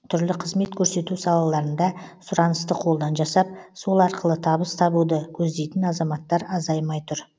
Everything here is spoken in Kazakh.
түрлі қызмет көрсету салаларында сұранысты қолдан жасап сол арқылы табыс табуды көздейтін азаматтар азаймай тұр